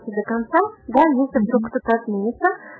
заказать косметику